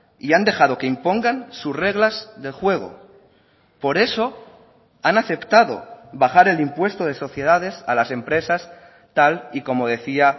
y han dejado que impongan sus reglas de juego por eso han aceptado bajar el impuesto de sociedades a las empresas tal y como decía